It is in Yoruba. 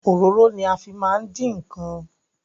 Ororo ni a fi maa n din nkan